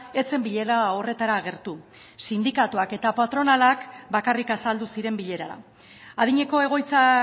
ez zen bilera horretara agertu sindikatuak eta patronalak bakarrik azaldu ziren bilerara adineko egoitza